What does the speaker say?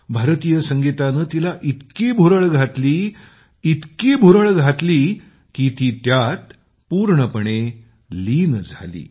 भारतीय संगीतानं तिला इतकी भुरळ घातली इतकी भुरळ घातली की ती त्यात पूर्णपणे लीन झाली